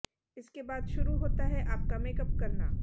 इसके बाद शुरु होता है आपका मेकअप करना